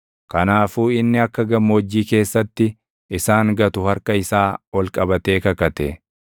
Kanaafuu inni akka gammoojjii keessatti isaan gatu harka isaa ol qabatee kakate;